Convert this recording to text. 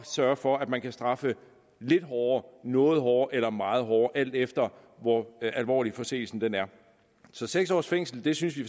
sørge for at man kan straffe lidt hårdere noget hårdere eller meget hårdere alt efter hvor alvorlig forseelsen er så seks års fængsel synes vi